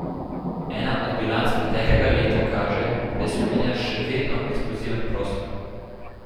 Ena od bilanc preteklega leta kaže, da je Slovenija še vedno eksploziven prostor.